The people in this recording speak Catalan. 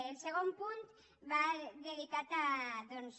el segon punt va dedicat doncs